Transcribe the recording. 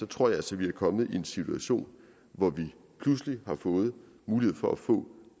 tror jeg altså vi er kommet i en situation hvor vi pludselig har fået mulighed for at få